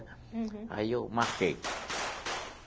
Uhum. Aí eu marquei.